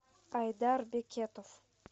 айдар бекетов